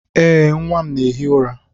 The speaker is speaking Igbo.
Ee, nwa m na-ehi ụra.